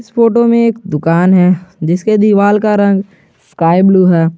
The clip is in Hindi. इस फोटो में एक दुकान है जिसके दीवाल का रंग स्काई ब्लू है।